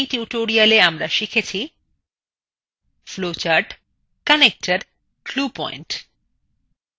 in tutorial এ আমরা শিখেছি